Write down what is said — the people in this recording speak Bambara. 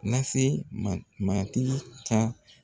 Na se matigi ka